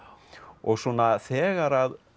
og svona þegar